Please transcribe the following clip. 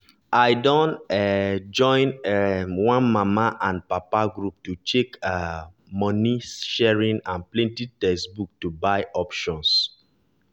i dun um join um one mama and papa group to check um money sharing and plenty textbook to buy options